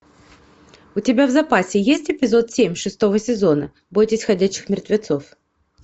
у тебя в запасе есть эпизод семь шестого сезона бойтесь ходячих мертвецов